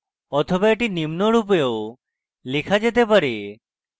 অথবা এটি নিম্ন রূপেও লেখা যেতে পারে: